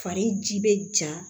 Fari ji bɛ ja